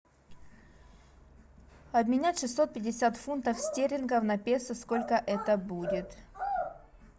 обменять шестьсот пятьдесят фунтов стерлингов на песо сколько это будет